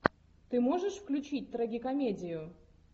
ты можешь включить трагикомедию